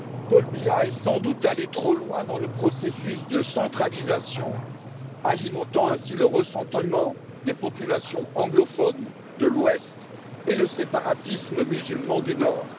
Paul Biya est sans doute allé trop loin dans le processus de centralisation, alimentant ainsi le ressentiment des populations anglophones de l'Ouest et le séparatisme musulman du Nord.